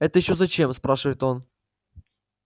это ещё зачем спрашивает он